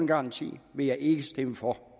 garanti vil jeg ikke stemme for